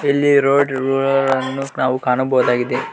ಇಲ್ಲಿ road roller ಅನ್ನು ನಾವು ಕಾಣಬಹುದಾಗಿದೆ.